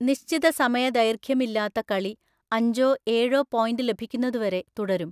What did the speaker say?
നിശ്ചിത സമയ ദൈർഘ്യമില്ലാത്ത കളി അഞ്ചോ ഏഴോ പോയിന്റ് ലഭിക്കുന്നതുവരെ തുടരും.